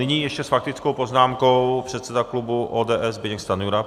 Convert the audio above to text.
Nyní ještě s faktickou poznámkou předseda klubu ODS Zbyněk Stanjura.